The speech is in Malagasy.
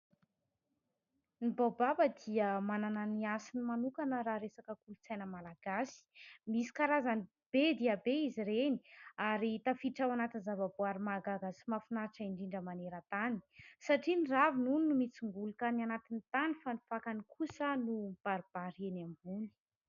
Ny baobab dia manana ny hasiny manokana raha resaka kolotsaina malagasy. Misy karazany be dia be izy ireny ary tafiditra ao anatin’ny zava-boaary mahagaga sy mahafinaritra indrindra manerantany satria ny raviny hono no mitsongolika any anatin'ny tany fa ny fakany kosa no mibaribary eny ambony.